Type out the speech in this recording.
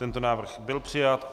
Tento návrh byl přijat.